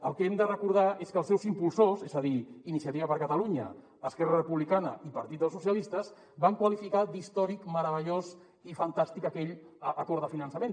el que hem de recordar és que els seus impulsors és a dir iniciativa per catalunya esquerra republicana i partit dels socialistes van qualificar d’històric meravellós i fantàstic aquell acord de finançament